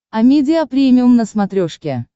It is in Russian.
амедиа премиум на смотрешке